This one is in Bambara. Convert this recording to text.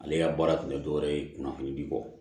Ale ka baara tun tɛ dɔwɛrɛ ye kunnafonidi kɔ